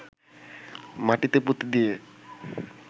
মাটিতে পুঁতে দিয়ে